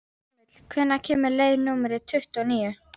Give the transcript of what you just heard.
Amil, hvenær kemur leið númer tuttugu og níu?